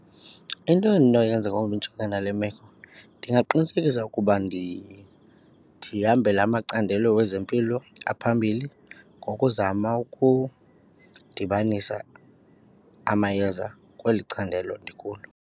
Into endinoyenza ngoku ndijongene nale meko ndingaqinisekisa ukuba ndihambela amacandelo wezempilo aphambili ngokuzama ukudibanisa amayeza kweli candelo ndikulo.